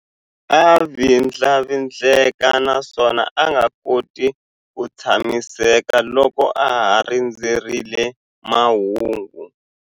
A vindlavindleka naswona a nga koti ku tshamiseka loko a ha rindzerile mahungu.